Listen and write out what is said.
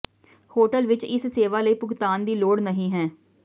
hotel ਵਿੱਚ ਇਸ ਸੇਵਾ ਲਈ ਭੁਗਤਾਨ ਦੀ ਲੋੜ ਨਹੀ ਹੈ